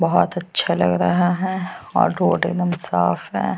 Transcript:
बोहोत अच्छा लग रहा है और रोड़ एकदम साफ है।